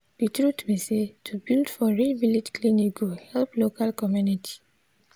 de truth be say to build for real village clinic go help local community.